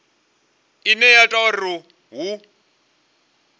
ine ya ita uri hu